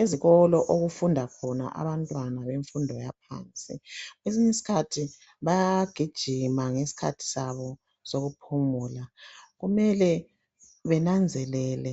ezikolo okufunda khona abantwana bemfundo yaphansikwesinye isikhthi baya gijima ngesikhathi sabo sokuphumula kumele benanzelele